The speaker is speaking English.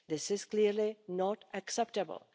This is clearly not acceptable.